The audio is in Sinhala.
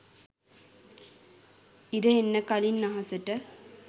ඉර එන්න කලින් අහසට